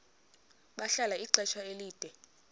bahlala ixesha elide